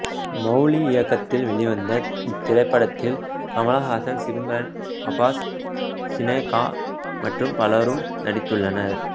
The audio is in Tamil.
மௌலி இயக்கத்தில் வெளிவந்த இத்திரைப்படத்தில் கமல்ஹாசன் சிம்ரன் அப்பாஸ் சினேகா மற்றும் பலரும் நடித்துள்ளனர்